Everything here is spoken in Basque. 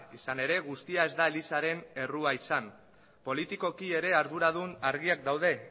izan ere guztia ez da elizaren errua izan politikoki ere arduradun argiak daude